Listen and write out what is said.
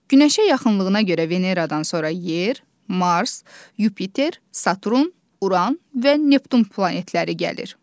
Günəşə yaxınlığına görə Veneradan sonra Yer, Mars, Yupiter, Saturn, Uran və Neptun planetləri gəlir.